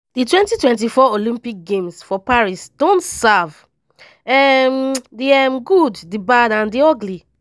di 2024 olympic games for paris don serve um di um good di bad and di ugly.